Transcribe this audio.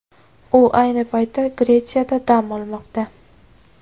U ayni paytda Gretsiyada dam olmoqda.